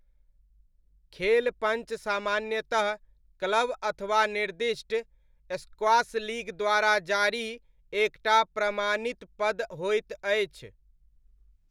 खेल पञ्च सामान्यतः क्लब अथवा निर्दिष्ट स्क्वॉश लीग द्वारा जारी एक टा प्रमाणित पद होइत अछि।